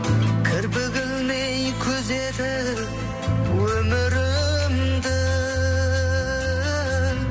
кірпік ілмей күзетіп өмірімді